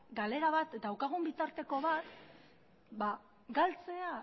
galera bat daukagun bitarteko bat galtzea